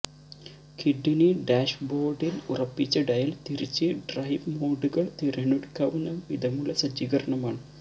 ക്വിഡിന് ഡാഷ്ബോര്ഡില് ഉറപ്പിച്ച ഡയല് തിരിച്ച് െ്രെഡവ് മോഡുകള് തിരഞ്ഞെടുക്കാവുന്ന വിധമുള്ള സജ്ജീകരണമാണ്